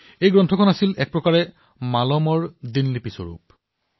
এই গ্ৰন্থ এক প্ৰকাৰে মালমৰ ডায়েৰী আছিল